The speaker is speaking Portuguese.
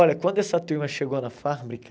Olha, quando essa turma chegou na fábrica...